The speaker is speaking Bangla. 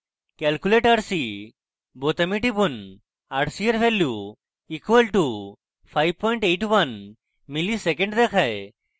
calculate rc বোতামে টিপুন rc এর value = 581 msec দেখায়